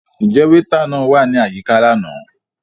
Njẹ weeta náà wa ni ayika làná?